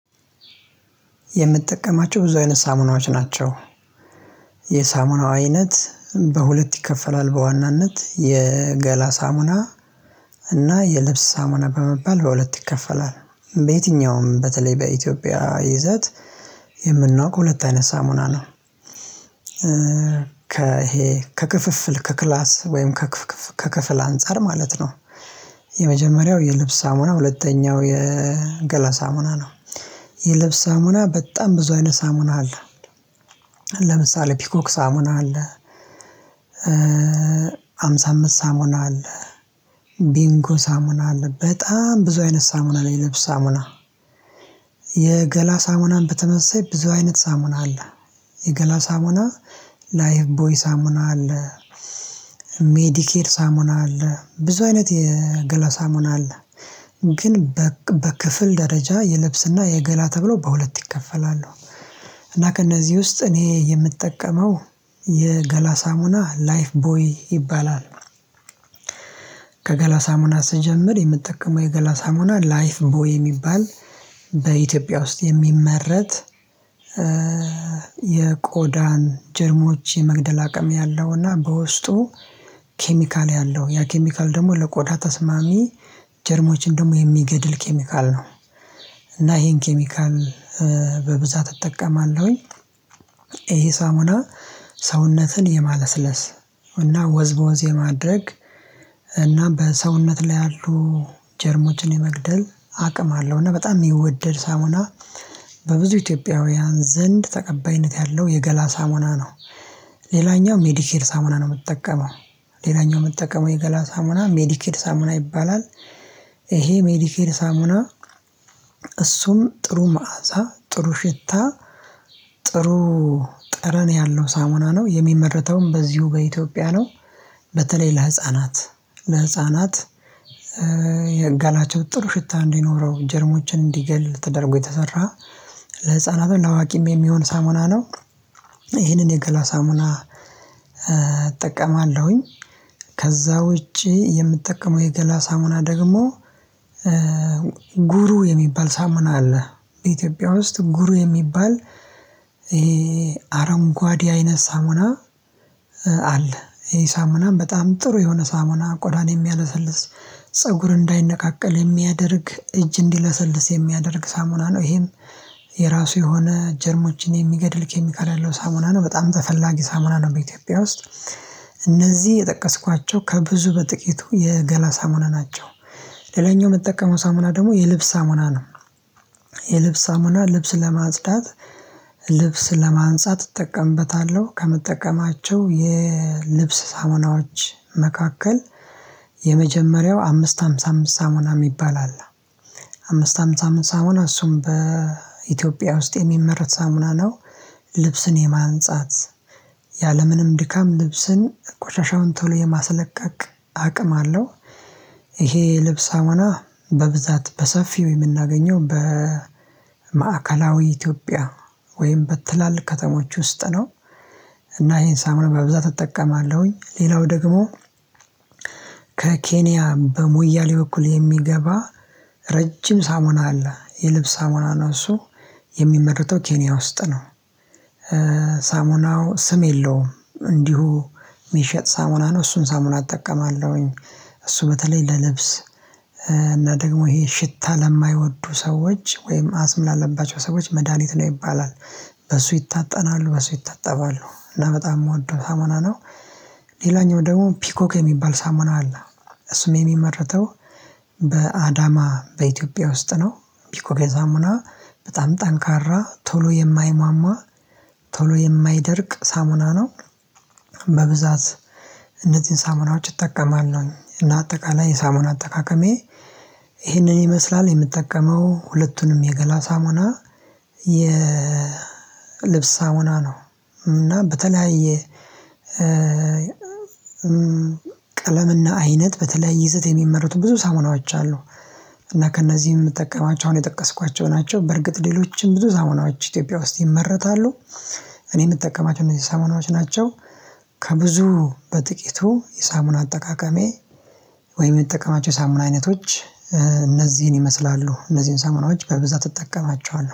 የምጠቀማቸው ብዙ አይነት ሳሙናዎች ናቸው። የሳሙናው አይነት በሁለት ይከፈላል በዋናነት የገላ ሳሙና እና የልብስ ሳሙና በመባል በሁለት ይከፈላል። በየትኛውም በተለይ በኢትዮጵያ ይዘት የምናውቀው ሁለት አይነት ሳሙና ነው። ከ ይሄ ከክፍፍል ከክላስ ወይም ከክፍል አንፃር ማለት ነው። የመጀመሪያው የልብስ ሳሙና ሁለተኛው የገላ ሳሙና ነው። የልብስ ሳሙና በጣም ብዙ አይነት ሳሙና አለ። ለምሳሌ ፒኮክ ሳሙና አለ። ሃምሳ አምስት ሳሙና አለ። ቢንጎ ሳሙና አለ በጣም ብዙ አይነት ሳሙና ነው ልብስ ሳሙና። የገላ ሳሙናን በተመሳሳይ ብዙ አይነት ሳሙና አለ። የገላ ሳሙና ላይፍ ቦይ ሳሙና አለ። ሜዲኬር ሳሙና አለ ብዙ አይነት የገላ ሳሙና አለ። ግን በክፍል ደረጃ የልብስና የገላ ተብሎ በሁለት ይከፈላሉ። እና ከእነዚህ ውስጥ እኔ የምጠቀመው የገላ ሳሙና ላይፍ ቦይ ይባላል። ከገላ ሳሙና ስጀምር የምትጠቀመው የገላ ሳሙና ላይፍ ቦይ የሚባል በኢትዮጵያ ውስጥ የሚመረት። የቆዳን ጀርሞች የመግደል አቅም ያለውና በውስጡ ኬሚካል ያለው ያ ኬሚካል ደግሞ ለቆዳ ተስማሚ ጀርሞችን ደግሞ የሚገድል ኬሚካል ነው። እና ይሄን ኬሚካል በብዛት እጠቀማለሁኝ። ይሄ ሳሙና ሰውነትን የማለስለስ እና ወዝ በወዝ የማድረግ እና በሰውነት ላይ ያሉ ጀርሞችን የመግደል አቅም አለው እና በጣም የሚወደድ ሳሙና በብዙ ኢትዮጵያውያን ዘንድ ተቀባይነት ያለው የገላ ሳሙና ነው። ሌላኛው ሜዲኬድ ሳሙና ነው የምጠቀመው ሌላኛው የምጠቀመው የገላ ሳሙና ሜዲኬድ ሳሙና ይባላል። ይሄ ሜዲኬድ ሳሙና እሱም ጥሩ መዓዛ ጥሩ ሽታ ጥሩ ጠረን ያለው ሳሙና ነው የሚመረተውም በዚሁ በኢትዮጵያ ነው። በተለይ ለህፃናት ለህፃናት የገላቸው ጥሩ ሽታ እንዲኖረው ጀርሞችን እንዲገል ተደርጎ የተሰራ ለህፃናትም ለአዋቂም የሚሆን ሳሙና ነው። ይህንን የገላ ሳሙና እጠቀማለሁኝ። ከዛ ውጪ የምጠቀመው የገላ ሳሙና ደግሞ ጉሩ የሚባል ሳሙና አለ። በኢትዮጵያ ውስጥ ጉሩ የሚባል ይሄ አረንጓዴ አይነት ሳሙና። አለ ይሄ ሳሙናም በጣም ጥሩ የሆነ ሳሙና ቆዳን የሚያለሰልስ ፀጉር እንዳይነቃቀል የሚያደርግ እጅ እንዲለሰልስ የሚያደርግ ሳሙና ነው። ይሄም የራሱ የሆነ ጀርሞችን የሚገድል ኬሚካል ያለው ሳሙና ነው በጣም ተፈላጊ ሳሙና ነው በኢትዮጵያ ውስጥ። እነዚህ የጠቀስኳቸው ከብዙ በጥቂቱ የገላ ሳሙና ናቸው። ሌላኛው የምጠቀመው ሳሙና ደግሞ የልብስ ሳሙና ነው። የልብስ ሳሙና ልብስ ለማጽዳት ልብስ ለማንጻት እጠቀምበታለሁ ከምጠቀማቸው የልብስ ሳሙናዎች መካከል የመጀመሪያው አምስት ሃምሳ አምስት ሳሙና የሚባል አለ። አምስት ሃምሳ አምስት ሳሙና እሱም በኢትዮጵያ ውስጥ የሚመረት ሳሙና ነው። ልብስን የማንጻት ያለምንም ድካም ልብስን ቆሻሻውን ቶሎ የማስለቀቅ አቅም አለው። ይሄ የልብስ ሳሙና በብዛት በሰፊው የምናገኘው በማዕከላዊ ኢትዮጵያ ወይም በትላልቅ ከተሞች ውስጥ ነው። እና ይሄን ሳሙና በብዛት እጠቀማለሁኝ ሌላው ደግሞ ከኬንያ በሞያሌ በኩል የሚገባ ረጅም ሳሙና አለ የልብስ ሳሙና ነው እሱ የሚመረተው ኬንያ ውስጥ ነው። ሳሙናው ስም የለውም እንዲሁ የሚሸጥ ሳሙና ነው እሱን ሳሙና እጠቀማለሁኝ። እሱ በተለይ ለልብስ እና ደግሞ ይሄ ሽታ ለማይወዱ ሰዎች ወይም አስም ላለባቸው ሰዎች መድሃኒት ነው ይባላል። በሱ ይታጠናሉ በሱ ይታጠባሉ እና በጣም የምወደው ሳሞና ነው። ሌላኛው ደግሞ ፒኮክ የሚባል ሳሙና አለ። እሱም የሚመረተው በአዳማ በኢትዮጵያ ውስጥ ነው። ፒኮክ ሳሙና በጣም ጠንካራ ቶሎ የማይሟሟ ቶሎ የማይደርቅ ሳሙና ነው። በብዛት እነዚህን ሳሙናዎች እጠቀማለሁኝ እና አጠቃላይ የሳሙና አጠቃቀሜ ይህንን ይመስላል የምጠቀመው ሁለቱንም የገላ ሳሙና የ ልብስ ሳሙና ነው። እና በተለያየ ቀለምና አይነት በተለያየ ይዘት የሚመረቱ ብዙ ሳሙናዎች አሉ። እና ከእነዚህም የምጠቀማቸው አሁን የጠቀስኳቸው ናቸው በእርግጥ ሌሎችም ብዙ ሳሙናዎች ኢትዮጵያ ውስጥ ይመረታሉ። እኔ የምጠቀማቸው እነዚህ ሳሙናዎች ናቸው። ከብዙ በጥቂቱ የሳሙና አጠቃቀሜ ወይ የምጠቀማቸው የሳሙና አይነቶች እነዚህን ይመስላሉ እነዚህን ሳምናዎች በብዛት እጠቀማቸዋለሁ